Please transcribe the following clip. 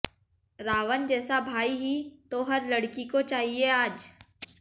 रावण जैसा भाई ही तो हर लड़की को चाहिए आज